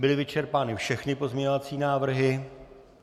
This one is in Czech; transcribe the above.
Byly vyčerpány všechny pozměňovací návrhy?